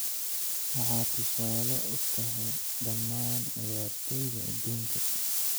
Waxaad tusaale u tahay dhammaan ciyaartooyda adduunka.